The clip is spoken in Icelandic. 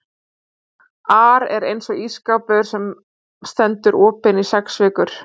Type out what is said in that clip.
ar er eins og ísskápur sem stendur opinn í sex vikur.